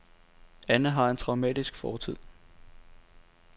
Anna har en traumatisk fortid.